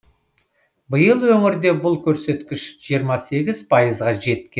биыл өңірде бұл көрсеткіш жиырма сегіз пайызға жеткен